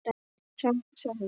sagði Sölvi.